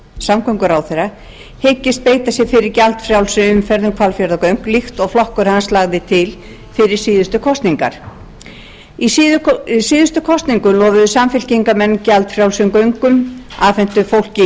samgönguráðherra hyggist beita sér fyrir gjaldfrjálsri umferð um hvalfjarðargöng líkt og flokkur hans lagði til fyrir síðustu kosningar í síðustu kosningum lofuðu samfylkingarmenn gjaldfrjálsum göngum afhentu fólki frímiða í